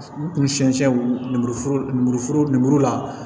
U kun siɲɛ siyɛn lemuru lenburuforo lemuru la